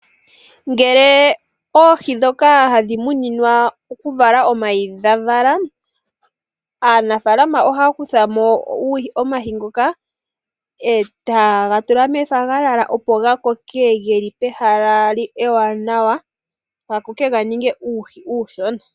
Ngele oohi ndhoka hadhi muninwa okuvala omayi dhavala. Aanafalama ohaya kutha mo omayi ngoka etaga tulwa mefagalala opo gakoke geli pehala ewaanawa etaga ningi uuhi uushona.